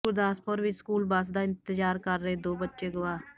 ਗੁਰਦਾਸਪੁਰ ਵਿਚ school bus ਦਾ ਇੰਤਜਾਰ ਕਰ ਰਹੇ ਦੋ ਬੱਚੇ ਅਗਵਾ